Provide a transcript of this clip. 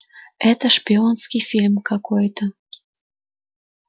это шпионский фильм какой-то